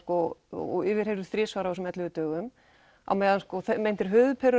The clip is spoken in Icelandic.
og yfirheyrður þrisvar á þessum ellefu dögum á meðan meintir